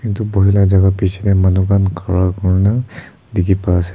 itu buhi jaga la piche de manu khan khara kurina dikhi pa ase.